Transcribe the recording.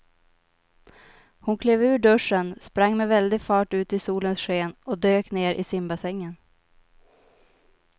Hon klev ur duschen, sprang med väldig fart ut i solens sken och dök ner i simbassängen.